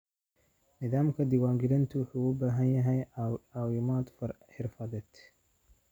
Nidaamka diiwaangelintu wuxuu u baahan yahay caawimo xirfadeed.